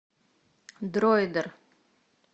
дроидер